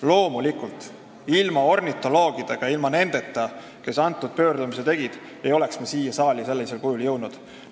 Loomulikult, ilma ornitoloogideta, ilma nendeta, kes selle pöördumise tegid, ei oleks eelnõu sellisel kujul siia saali jõudnud.